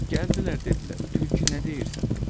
Gəldilər, dedilər, tülkü nə deyirsən?